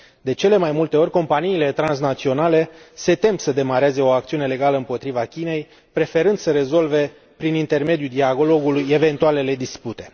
De cele mai multe ori, companiile transnaționale se tem să demareze o acțiune legală împotriva Chinei, preferând să rezolve prin intermediul dialogului eventualele dispute.